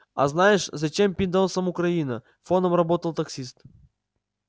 а знаешь зачем пиндосам украина фоном работал таксист